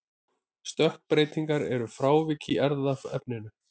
stökkbreytingar eru frávik í erfðaefninu